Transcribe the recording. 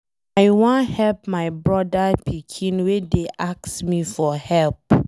I wan help my broda pikin wey dey ask me for help.